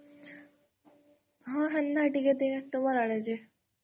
ହଁ ହେନ୍ତା ଟିକେ ଟିକେ ତମର୍ ଆଡେ ଯେ?